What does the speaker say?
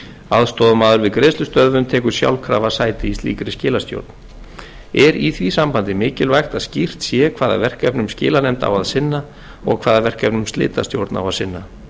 aðstoðarmaður við greiðslustöðvun tekur sjálfkrafa sæti í slíkri skilastjórn er í því sambandi mikilvægt að skýrt sé hvaða verkefnum skilanefnd á að sinna og hvaða verkefnum slitastjórn á að sinna